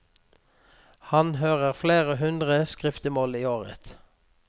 Han hører flere hundre skriftemål i året.